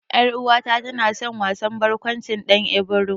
Ƴar'uwata na san wasan barƙwancin Ɗan Ibro.